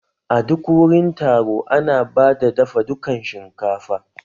A duk wurin taro ana bada dafa dukan shinkafa